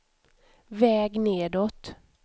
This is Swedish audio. väg nedåt